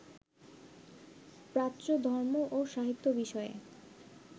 প্রাচ্য ধর্ম ও সাহিত্য বিষয়ে